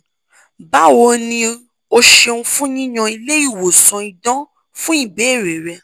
bawoni o ṣeun fun yiyan ile iwosan idan fun ibeere re